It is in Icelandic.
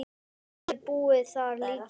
Jafnvel búið þar líka.